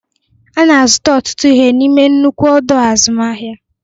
Ana azụta ọtụtụ ihe n'ime nnukwu ọdọ azụmahịa.